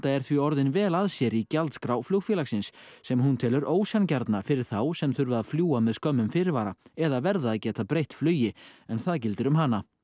er því orðin vel að sér í gjaldskrá flugfélagsins sem hún telur ósanngjarna fyrir þá sem þurfa að fljúga með skömmum fyrirvara eða verða að geta breytt flugi en það gildir um hana